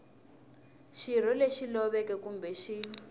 xirho lexi loveke kumbe xi